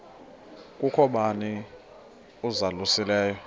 kukho bani uzalusileyo